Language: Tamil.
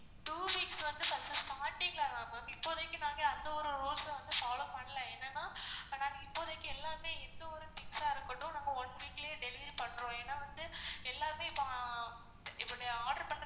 two weeks வந்து first starting ல தான் ma'am இப்போதிக்கு நாங்க அந்த ஒரு rules அ வந்து follow பண்ல என்னனா நாங்க இப்போதைக்கு எல்லாமே எந்த ஒரு things ஆ இருக்கட்டும் நாங்க one week லையே delivery பண்றோம் ஏன்னா வந்து எல்லாமே இப்போ இப்போ நீங்க order பண்றது